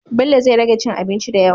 bello zai rage cin abinci dayawa